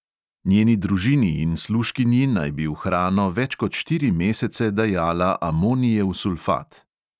Njeni družini in služkinji naj bi v hrano več kot štiri mesece dajala amonijev sulfat.